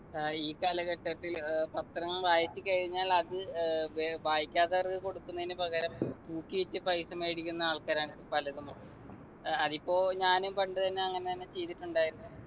ഏർ ഈ കാലഘട്ടത്തിൽ ഏർ പത്രങ്ങൾ വായിച്ചു കഴിഞ്ഞാൽ അത് ഏർ വേ വായിക്കാത്തവർക്ക് കൊടുക്കുന്നതിനു പകരം തൂക്കിവിറ്റ് പൈസ മേടിക്കുന്ന ആൾക്കാരാണ് പലരും ഏർ അതിപ്പോ ഞാനും പണ്ട് തന്നെ അങ്ങനെന്നെ ചെയ്തിട്ടുണ്ടായിരുന്നെ